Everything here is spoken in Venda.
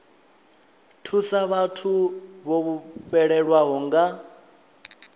thusa vhathu vho fhelelwaho nga